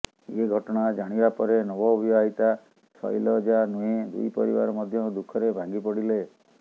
ଏ ଘଟଣା ଜାଣିବା ପରେ ନବ ବିବାହିତା ଶୈଲଜା ନୁହେଁ ଦୁଇ ପରିବାର ମଧ୍ୟ ଦୁଃଖରେ ଭାଙ୍ଗି ପଡ଼ିଲେ